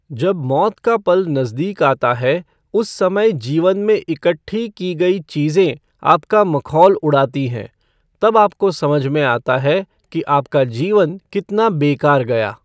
जब मौत का पल नजदीक आता है उस समय जीवन में इकट्ठी की गई चीजें आपका मखौल उड़ाती हैं, तब आपको समझ में आता है कि आपका जीवन कितना बेकार गया।